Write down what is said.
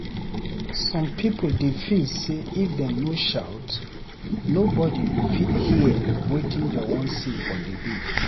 Some people dey feel sey if dem no shout nobody go fit hear wetin dem wan say for debate.